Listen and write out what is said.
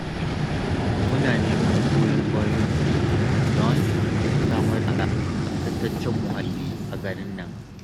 Muna neman goyon bayanku don samar da tsaftataccen muhalli a garin nan